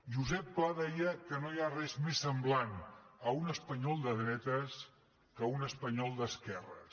josep pla deia que no hi ha res més semblant a un espanyol de dretes que un espanyol d’esquerres